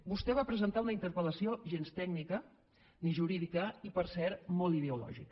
vostè va presentar una interpel·lació gens tècnica ni jurídica i per cert molt ideològica